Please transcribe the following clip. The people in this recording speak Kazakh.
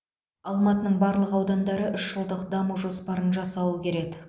алматының барлық аудандары үш жылдық даму жоспарын жасауы керек